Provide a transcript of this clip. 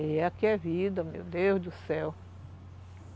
E é aqui a vida, meu Deus do céu.